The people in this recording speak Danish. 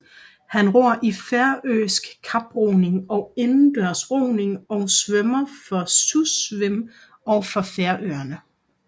Han ror i færøsk kaproning og indendørs roning og svømmer for Susvim og for Færøerne